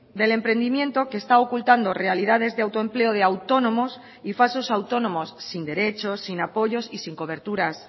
del emprendimiento que está ocultando realidades de autoempleo de autónomos y falsos autónomos sin derechos sin apoyos y sin coberturas